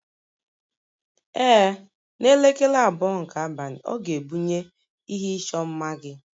Ee, n'elekere abụọ nke abalị, ọ ga-ebunye ihe ịchọ mma gị